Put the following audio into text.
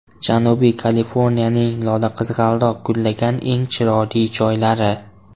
Janubiy Kaliforniyaning lolaqizg‘aldoq gullagan eng chiroyli joylari .